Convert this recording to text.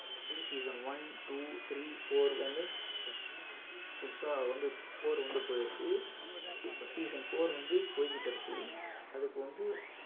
season one two three four வந்து இப்ப three முடிஞ்சி புதுசா வந்து four வந்து போயிருக்கு season four வந்து போய்க்கிட்டிருக்கு அதுக்கு வந்து